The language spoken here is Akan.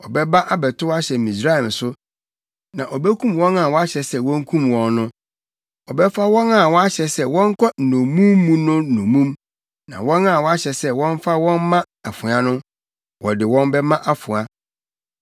Ɔbɛba abɛtow ahyɛ Misraim so, na obekum wɔn a wɔahyɛ sɛ wonkum wɔn no, ɔbɛfa wɔn a wɔahyɛ sɛ wɔnkɔ nnommum mu no nnommum, na wɔn a wɔahyɛ sɛ wɔmfa wɔn mma afoa no, wɔde wɔn bɛma afoa.